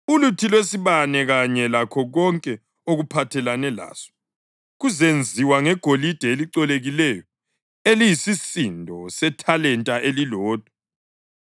Uluthi lwesibane kanye lakho konke okuphathelene laso kuzenziwa ngegolide elicolekileyo eliyisisindo sethalenta elilodwa.